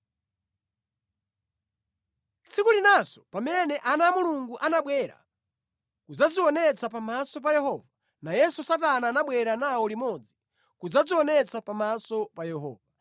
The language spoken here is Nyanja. Tsiku linanso pamene ana a Mulungu anabwera kudzadzionetsa pamaso pa Yehova, nayenso Satana anabwera nawo limodzi kudzadzionetsa pamaso pa Yehova.